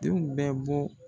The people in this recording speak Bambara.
Denw bɛ bɔ.